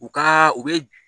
U ka u be